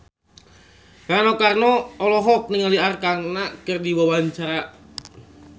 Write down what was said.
Rano Karno olohok ningali Arkarna keur diwawancara